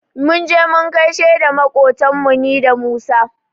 Mun je mu gaishe da maƙotanmu ni da Musa.